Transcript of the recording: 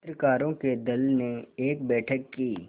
चित्रकारों के दल ने एक बैठक की